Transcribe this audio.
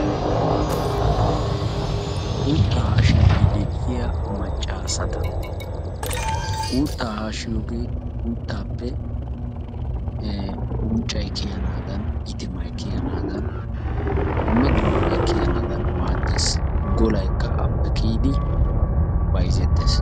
Uutta haashshidi de'iyaa maccasata, uutta haashshiyoige uuttaappe ee unccay kiyanadan iitimay kiyanadan dumma dummabay kiyanaadan maaddees. Golaykka appe kiyidi bayzzettees.